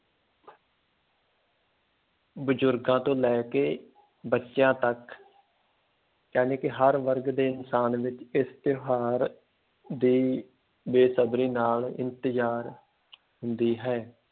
ਬਜ਼ੁਰਗਾਂ ਤੋਂ ਲੈ ਕੇ ਬੱਚਿਆਂ ਤੱਕ ਜਾਣੀ ਕਿ ਹਰ ਵਰਗ ਦੇ ਇਨਸਾਨ ਵਿੱਚ ਇਸ ਤਿਉਹਾਰ ਦੀ ਬੇਸਬਰੀ ਨਾਲ ਇੰਤਜ਼ਾਰ ਹੁੰਦੀ ਹੈ